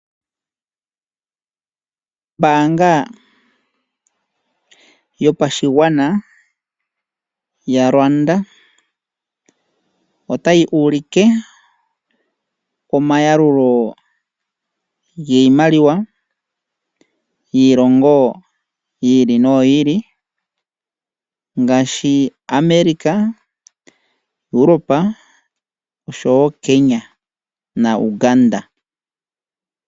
Ombaanga yopashigwana yaRwanda otayi ulike oma yalululo giimaliwa yiilongo yi ili noyi ili ngaashi America, Europe noshowo Kenya naUganda.